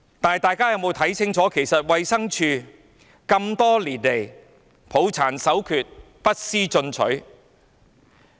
但大家有沒有看清楚，衞生署這麼多年來抱殘守缺，不思進取。